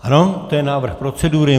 Ano, to je návrh procedury.